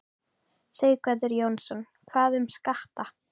Sighvatur Jónsson: Hvað um skatta?